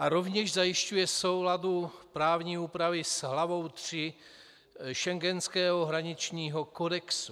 A rovněž zajišťuje soulad právní úpravy s hlavou III schengenského hraničního kodexu.